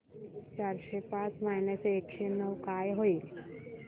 चारशे पाच मायनस एकशे नऊ काय होईल